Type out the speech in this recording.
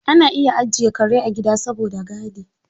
Ana iya ajiye kare a gida saboda gadi.